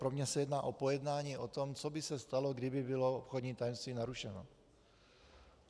Pro mě se jedná o pojednání o tom, co by se stalo, kdyby bylo obchodní tajemství narušeno.